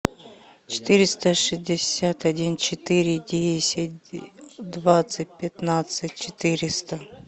четыреста шестьдесят один четыре десять двадцать пятнадцать четыреста